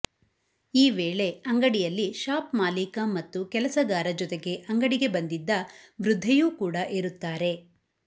ಈ ವೇಳೆ ಅಂಗಡಿಯಲ್ಲಿ ಶಾಪ್ ಮಾಲೀಕ ಮತ್ತು ಕೆಲಸಗಾರ ಜೊತೆಗೆ ಅಂಗಡಿಗೆ ಬಂದಿದ್ದ ವೃದ್ಧೆಯೂ ಕೂಡ ಇರುತ್ತಾರೆ